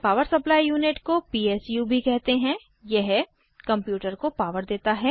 power supply unit को PSU भी कहते हैं यह कंप्यूटर को पॉवर देता है